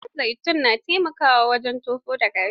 Man zaitun na taimakawa wajen tofo da gashi.